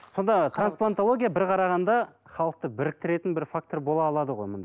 сонда трансплантология бір қарағанда халықты біріктерін бір фактор бола алады ғой